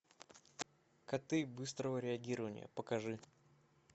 коты быстрого реагирования покажи